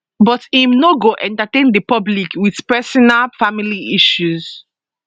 but im no go entertain di public wit personal family issues